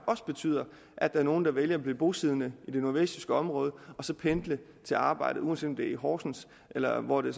også betyder at der er nogle der vælger at blive bosiddende i det nordvestjyske område og så pendle til arbejde uanset om det er i horsens eller hvor det